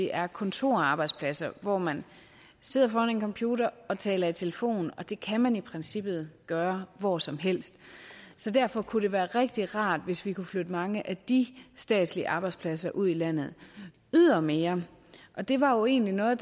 er kontorarbejdspladser hvor man sidder foran en computer og taler i telefon og det kan man i princippet gøre hvor som helst så derfor kunne det være rigtig rart hvis vi kunne flytte mange af de statslige arbejdspladser ud i landet ydermere og det var jo egentlig noget